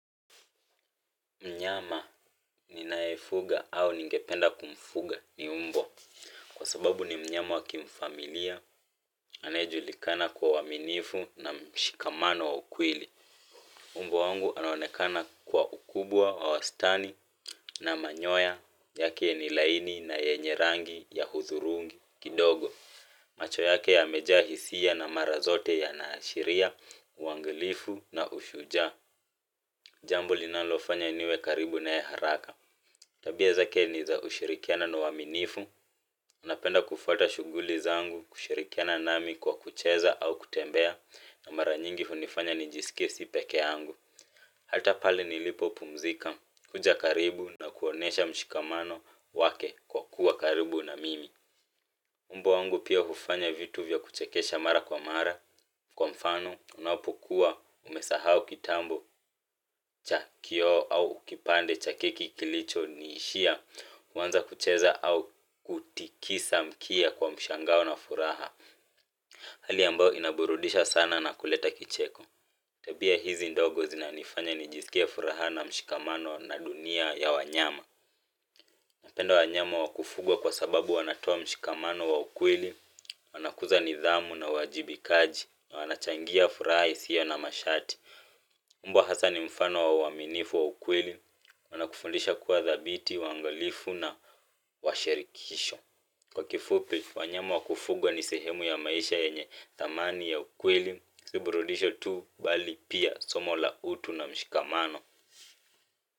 Mnyama ninaefuga au ningependa kumfuga ni mbwa. Kwa sababu ni mnyama wa kimfamilia, anayejulikana kwa uaminifu na mshikamano wa ukweli. Mbwa wangu anaonekana kwa ukubwa, wa wastani na manyoya, yake ni laini na yenye rangi ya hudhurungi, kidogo. Macho yake yamejaa hisia na mara zote yanaashiria uangalifu na ushujaa. Jambo linalofanya niwe karibu naye haraka. Tabia zake ni za ushirikiano na uaminifu napenda kufuata shughuli zangu kushirikiana nami kwa kucheza au kutembea na mara nyingi hunifanya nijisikie si pekee yangu hata pale nilipopumzika, huja karibu na kuonesha mshikamano wake kwa kuwa karibu na mimi mbwa wangu pia hufanya vitu vya kuchekesha mara kwa mara, kwa mfano unapokuwa umesahau kitambo cha kioo au kipande cha keki kilichoniishia. Waanza kucheza au kutikisa mkia kwa mshangao na furaha hali ambayo inaburudisha sana na kuleta kicheko tabia hizi ndogo zinanifanya nijisikie furaha na mshikamano na dunia ya wanyama napenda wanyama wa kufugwa kwa sababu wanatoa mshikamano wa ukweli. Wanakuza nidhamu na uwajibikaji na wanachangia furaha isiyo na masharti mbwa hasa ni mfano wa uaminifu wa ukweli. Wanakufundisha kuwa dhabiti, waangalifu na washerikisho kwa kifupi, wanyama wa kufugwa ni sehemu ya maisha yenye thamani ya ukweli, si burudisho tu bali pia somo la utu na mshikamano.